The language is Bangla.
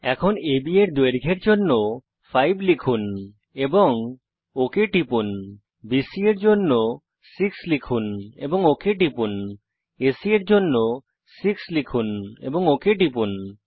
এখন আব এর দৈর্ঘ্যের জন্য 5 লিখুন এবং ওক টিপুন বিসি এর দৈর্ঘ্যের জন্য 6 লিখুন এবং ওক টিপুন এসি এর দৈর্ঘ্যের জন্য 6 লিখুন এবং ওক টিপুন